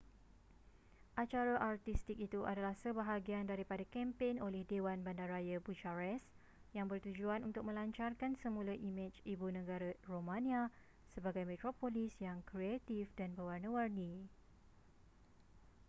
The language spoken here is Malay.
acara artistik itu adalah sebahagian daripada kempen oleh dewan bandaraya bucharest yang bertujuan untuk melancarkan semula imej ibu negara romania sebagai metropolis yang kreatif dan berwarna-warni